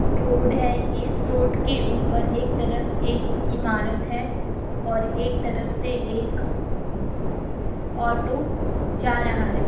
Road है ये इस रोड के ऊपर एक तरफ एक इमारत है और एक तरफ से एक ऑटो जा रहा है।